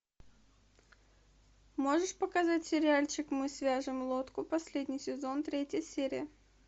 можешь показать сериальчик мы свяжем лодку последний сезон третья серия